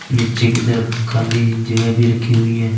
निचे की तरफ खाली जगह भी रखी हुई है ।